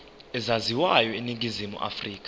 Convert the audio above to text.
ezaziwayo eningizimu afrika